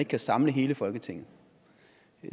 kan samle hele folketinget